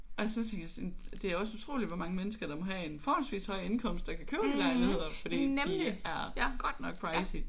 Og så tænkte jeg sådan det er også utroligt hvor mange mennesker der må have en forholdsvist høj indkomst og kan købe de lejligheder for de er godt nok pricey